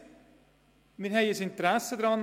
Als Staat haben wir ein Interesse daran.